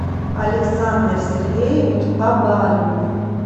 александр сергеевич абаринов